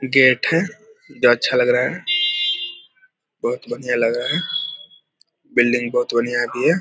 Gate है जो अच्छा लग रहा है। बहुत बढ़िया लग रहा है बिल्डिंग बहुत बढ़िया भी है।